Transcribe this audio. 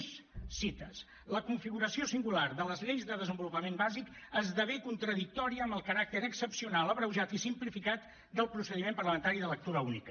més cites la configuració singular de les lleis de desenvolupament bàsic esdevé contradictòria amb el caràcter excepcional abreujat i simplificat del procediment parlamentari de lectura única